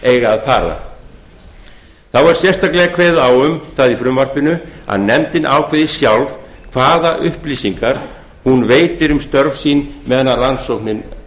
eiga að fara þá er sérstaklega kveðið á um það í frumvarpinu að nefndin ákveði sjálf hvaða upplýsingar hún veitir um störf sín meðan rannsóknin